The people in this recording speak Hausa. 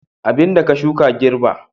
Abin da ka shuka ka girbi